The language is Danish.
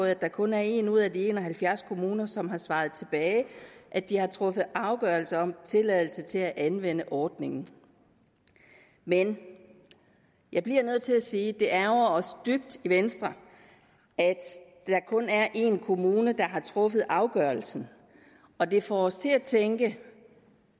at der kun er en ud af de en og halvfjerds kommuner som har svaret tilbage at de har truffet afgørelse om tilladelse til at anvende ordningen men jeg bliver nødt til at sige at det ærgrer os dybt i venstre at der kun er en kommune der har truffet afgørelsen og det får os til at tænke